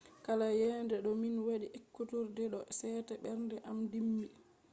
kala yende to min wadi ekkuturde do sete ɓernde am dimbi.